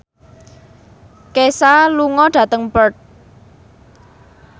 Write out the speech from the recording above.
Kesha lunga dhateng Perth